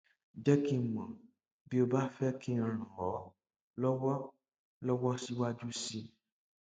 jẹ kí n mọ bí o bá fẹ kí n ràn ọ lọwọ lọwọ síwájú sí i